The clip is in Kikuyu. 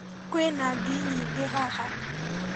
Kwĩna ngi nyingĩ haha